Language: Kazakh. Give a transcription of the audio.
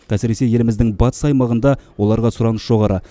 әсіресе еліміздің батыс аймағында оларға сұраныс жоғары